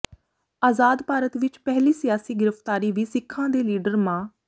ਆਜ਼ਾਦ ਭਾਰਤ ਵਿਚ ਪਹਿਲੀ ਸਿਆਸੀ ਗ੍ਰਿਫ਼ਤਾਰੀ ਵੀ ਸਿੱਖਾਂ ਦੇ ਲੀਡਰ ਮਾ